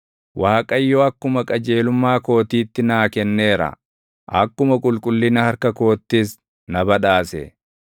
Waaqayyo akkuma qajeelummaa kootiitti naa kenneera; akkuma qulqullina harka koottis na badhaase.